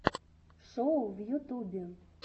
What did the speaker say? шоу в ютубе